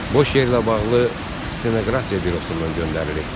Boş yerlə bağlı stenoqrafiya bürosundan göndərilib.